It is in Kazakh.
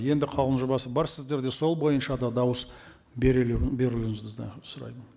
енді қаулының жобасы бар сіздерде сол бойынша да дауыс берулеріңізді сұраймын